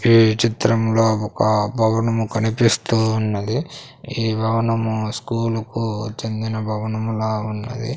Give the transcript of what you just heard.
ఈ చిత్రంలో ఒక భవనము కనిపిస్తూ ఉన్నది ఈ భవనము స్కూలు కు చెందిన భవనములా ఉన్నది.